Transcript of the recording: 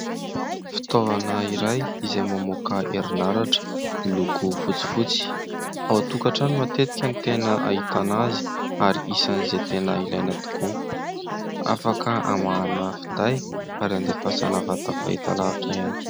Fitaovana iray izay mamoaka herinaratra miloko fotsifotsy. Ao an-tokatrano matetika ny tena hahitana azy ary isan'izay tena ilaina tokoa. Afaka hamahanana finday ary handehafasana vata fahitalavitra ihany koa.